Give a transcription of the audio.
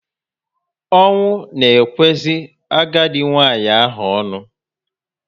Ọnwụ na ekwezi agadi nwanyị ahụ onu